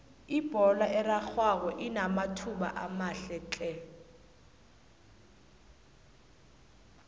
ibholo erarhwako inamathuba amahle tle